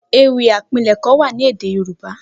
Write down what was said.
Ewì àpilẹ̀kọ wà ni édé yorùbá